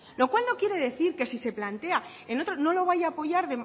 lo cual no quiere decir que si se plantea en otro no lo vaya apoyar